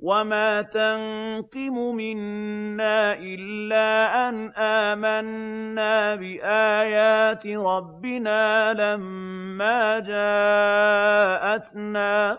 وَمَا تَنقِمُ مِنَّا إِلَّا أَنْ آمَنَّا بِآيَاتِ رَبِّنَا لَمَّا جَاءَتْنَا ۚ